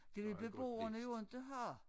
Det vil beboerne jo inte have